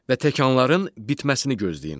Və təkanların bitməsini gözləyin.